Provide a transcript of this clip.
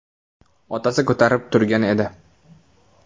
Otasi ko‘tarib turgan edi.